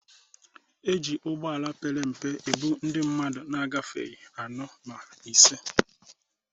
E ji ụgbọala pere mpe ebu ndị mmadụ na-agafeghị anọ ma ise.